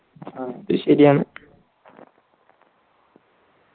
അത് ശരിയാണ്